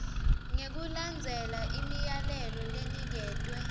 ngekulandzela imiyalelo leniketwe